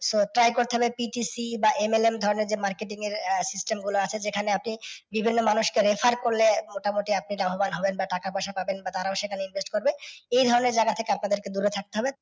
So try করছেন যে PTC বাM ধরণের যে marketing এর system গুলো আছে যেখানে আপনি বিভিন্ন মানুষকে refer করলে মোটামুটি আপনি লাভবান হবেন বা টাকা পয়সা পাবেন বা তারা ও এখানে invest করবে এই ধরণের যারা আছে তাদের থেকে দূরে থাকতে হবে